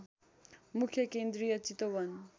मुख्य केन्द्रीय चितवन